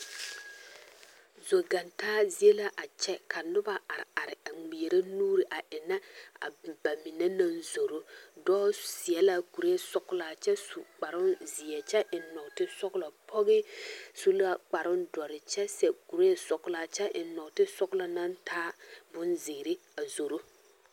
Zoɡantaa zie la a kyɛ ka noba areare a ŋmeɛrɛ nuuri a ennɛ a ba mine na zoro dɔɔ seɛ la kureesɔɡelaa kyɛ su kparoozeɛ kyɛ eŋ nɔɔtesɔɡelɔ pɔɡe su la kparoodɔre kyɛ sɛ kureesɔɡelaa kyɛ eŋ nɔɔtesɔɡelɔ na taa bonziiri a zoro.